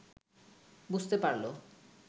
বুঝতে পারল